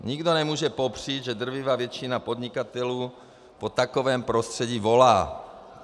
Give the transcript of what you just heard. Nikdo nemůže popřít, že drtivá většina podnikatelů po takovém prostředí volá.